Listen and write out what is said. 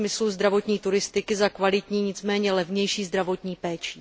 ve smyslu zdravotní turistiky za kvalitní, nicméně levnější zdravotní péčí.